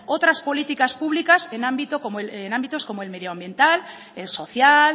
otras políticas públicas en ámbitos como el medioambiental el social